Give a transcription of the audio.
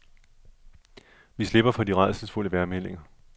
Vi slipper for de rædselsfulde vejrmeldinger.